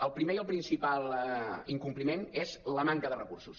el primer i el principal incompliment és la manca de recursos